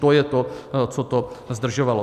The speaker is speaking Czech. To je to, co to zdržovalo.